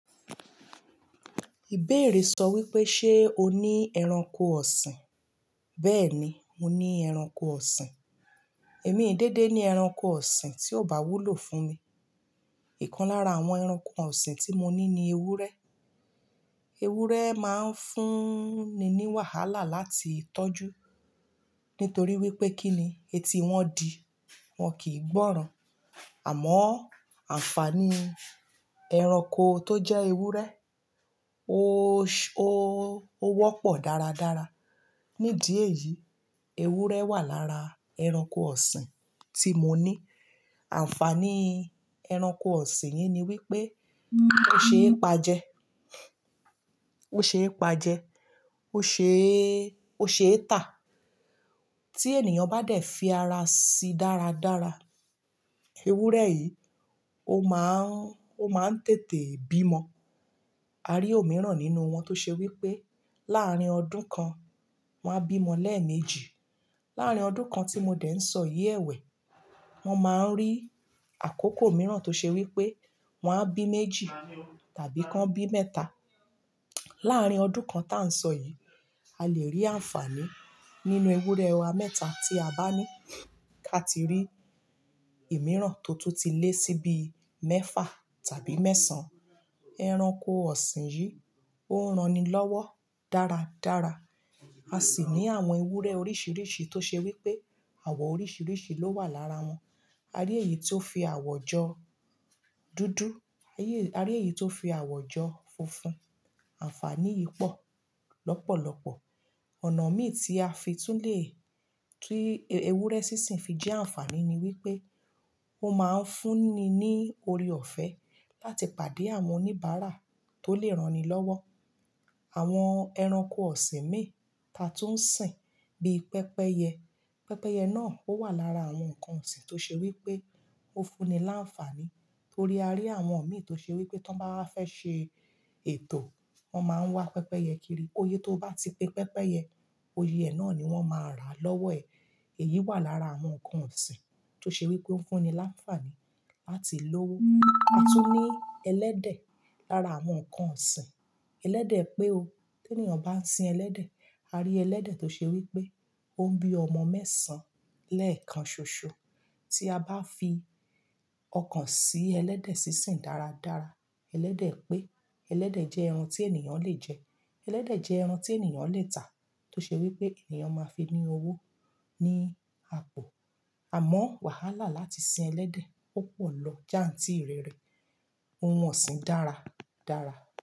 Ìbéèrè sọ wípé, ṣé o ní ẹranko ọ̀sìn? Bẹ́ẹ̀ni, mo ní ẹranko ọ̀sìn. Èmi ee dédé ní ẹranko ọ̀sìn tí ó bá wúlò fún mi. Ìkan lára àwọn ẹranko ọ̀sìn tí mo ní ni ewúrẹ́. Ewúrẹ́ máa ń fúnni ní wàhálà láti tọ́jú, nítorí wípé kíni: etí wọn di wọn kìí gbọ́ràn. Àmọ́ àǹfàní ẹranko tó jẹ́ ewúrẹ́, ó, ó, ó wọ́pọ̀ dáradára. Ní di eyìí, ewúrẹ́ wà lára ẹranko ọ̀sìn tí mo ní. Àǹfàní ẹranko ọ̀sìn yìí ni wípé ó ṣe é pa jẹ, ó ṣe é pa jẹ, ó ṣe é, ó ṣe é tà. Tí ènìyàn bá dẹ̀ fi ara sí dáradára, ewúrẹ́ yìí ó máa ń, ó máa ń tètè bímo. A rí òmíràn nínú wọn tó ṣe wípé láàrín ọdún kan wọ́n á bímo lẹ́ẹ̀mejì. Láàrín ọdún kan tí mo dẹ̀ ń sọ yìí ẹ̀wẹ̀, wọn máa ń rí àkókò mìíràn tó ṣe wípé wọ́n á bí méjì tàbí kan bí mẹ́ta. Láàrín ọdún kan tá ń sọ yìí, a lè rí àǹfàní nínú ewúrẹ́ wa mẹ́ta tí a bá ní. Ká ti rí ìmíràn tó tún ti lé sí bi mẹ́fà tàbí mẹ́sàn-án. Ẹranko ọ̀sìn yìí ó ń ra'ni lọ́wọ́ dáradára. A sì ní àwọn ewúrẹ́ oríṣiríṣi tó ṣe wípé àwọ̀ oríṣiríṣi ló wà lára wọn. A rí èyí tó fi àwọ̀ jọ dúdú, a yí, a rí èyí tó fi àwọ̀ jọ funfun. Àǹfàní yìí pọ̀ lọ́pọ̀lọpọ̀. Ọ̀nà mí tí a fi tún lè, ti ewúrẹ́ sísìn fi jẹ́ àǹfàní ni wípé ó máa ń fúnni ní oore-ọ̀fẹ́ láti pàdé àwọn oníbàárà tó lè ranilọ́wọ́. Àwọn ẹranko ọ̀sìn mí ta tún ń sìn bí pẹ́pẹ́yẹ. Pẹ́pẹ́yẹ náà ó wà lára àwọn nǹkan ọ̀sìn tó ṣe wípé ó fúnni láǹfàní torí a rí àwọn òmíì tó ṣe wípé tí wọ́n bá fẹ́ ṣe ètò, wọ́n máa ń wá pẹ́pẹ́yẹ kiri. Iyé tó bá ti pe pẹ́pẹ́yẹ, iyè ẹ náà ni wọ́n máa rà lọ́wọ́ ẹ̀. Èyí wà lára àwọn nǹkan ọ̀sìn tó ṣe wípé ó ń fúnni láǹfàní láti lọ́wọ́. A tún ní ẹlẹ́dẹ̀ lára àwọn nǹkan ọ̀sìn. Elẹ́dẹ̀ pé o, tí ènìyàn bá ń sin ẹlẹ́dẹ̀, a rí ẹlẹ́dẹ̀ tó ṣe wípé ó ń bí ọmọ mẹ́sàn-án lẹ́ẹ̀kan ṣoṣọ. Tí a bá fi ọkàn sí ẹlẹ́dẹ̀ sísìn dáradára, ẹlẹ́dẹ̀ pé, ẹlẹ́dẹ̀ jẹ́ ẹran tí ènìyàn le jẹ, ẹlẹ́dẹ̀ jẹ́ ẹran tí ènìyàn le tà tó ṣe wípé ènìyàn máa fi ní owó ní àpọ̀. Àmọ́ wàhálà láti sin ẹlẹ́dẹ̀ ó pọ̀ lọ jàń tíi rẹ́rẹ. Ohun ọ̀sìn dára dára.